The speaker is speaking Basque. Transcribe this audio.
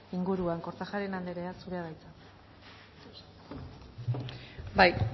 inguruan kortajarena anderea zurea da hitza